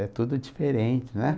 É tudo diferente, né?